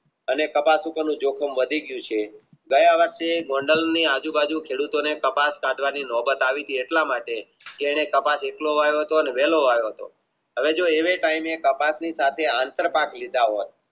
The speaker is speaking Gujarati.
અને કપાસ ઉપર નું જોખમ વધી ગયું છે દર વર્ષે જનરલની આજુ બાજુ ખેડૂત ને કપાસ કાઢવબની નોબત આવી હતીને એટલા માટે જેને કપાસ એટલો વાવ્યો હતોને વહેલો વાવ્યો તો હવે જો એવે તયામે કપાસની સાથે આંતર